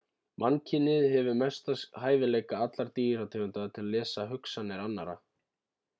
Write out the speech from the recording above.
mannkynið hefur mestu hæfileika allra dýrategunda til að lesa hugsanir annarra